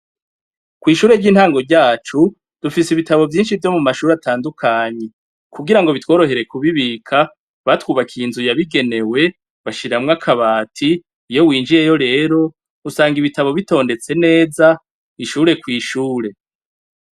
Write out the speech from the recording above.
Kw'ishure ry'intango ryacu, dufise ibitabo vyinshi vyo mu mashure atandukanye, kugira ngo bitworohere kubibika, batwubakiye inzu yabigenewe, bashiramwo akabati, iyo Winjiye yo rero usanga ibitabi bitondetse neza, ishure kw'ishure.